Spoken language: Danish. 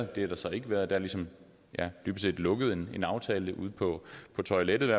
det har der så ikke været der er dybest set lukket en aftale ude på toiletterne